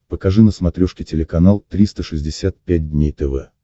покажи на смотрешке телеканал триста шестьдесят пять дней тв